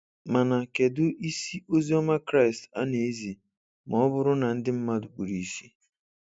Mana kedụ isi Oziọma Kraịst a na ezi ma ọ bụrụ na ndị mmadụ kpuru ìsì?